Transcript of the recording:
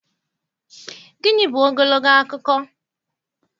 Gịnị bụ ogologo akụkọ?